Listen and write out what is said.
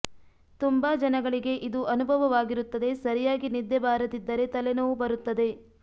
ತುಂಬಾ ಜನಗಳಿಗೆ ಇದು ಅನುಭವವಾಗಿರುತ್ತದೆ ಸರಿಯಾಗಿ ನಿದ್ದೆ ಬಾರದಿದ್ದರೆ ತಲೆನೋವು ಬರುತ್ತದೆ